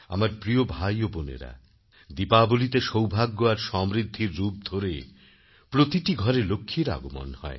আমার প্রিয় ভাই ও বোনেরা দীপাবলিতে সৌভাগ্য আর সমৃদ্ধির রূপ ধরে প্রতিটি ঘরে লক্ষ্মীর আগমন হয়